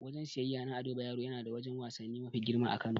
Wajen siyeyya na Ado Bayero yana da wajen wasanni mafi girma a Kano.